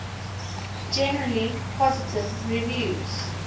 generally positive reviews